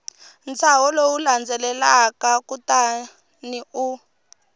ntshaho lowu landzelaka kutani u